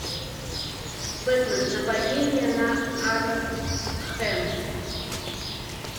бэтмен нападение на аркхэм